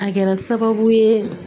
A kɛra sababu ye